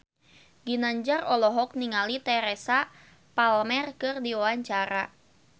Ginanjar olohok ningali Teresa Palmer keur diwawancara